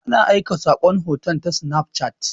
Ana aika saƙon hoto ta sinaf cat.